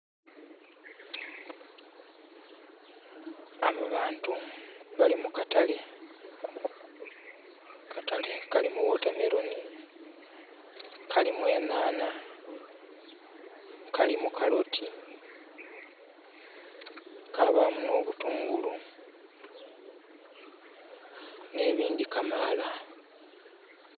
Abo bantu bali mu katale. Katale kalimu wotameroni, kalimu enhanha, kalimu kaloti, kabaamu n'obutungulu n'ebindhi kamaala.